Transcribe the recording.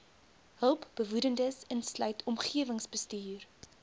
hulpbehoewendes insluitend omgewingsbestuur